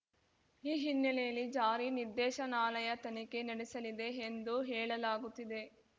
ಈ ಹಿನ್ನೆಲೆಯಲ್ಲಿ ಜಾರಿ ನಿರ್ದೇಶನಾಲಯ ತನಿಖೆ ನಡೆಸಲಿದೆ ಎಂದು ಹೇಳಲಾಗುತ್ತಿದೆ